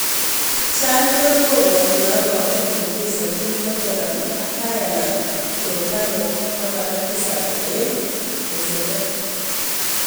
[Sun] Charlton kobwati kora kumut nechesanjin Tottenham ak Ireland Troy Parrott, 17, eng' deni.